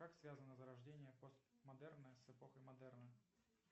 как связано зарождение посмодерна с эпохой модерна